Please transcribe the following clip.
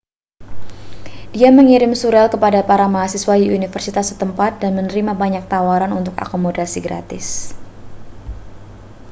dia mengirim surel kepada para mahasiswa di universitas setempat dan menerima banyak tawaran untuk akomodasi gratis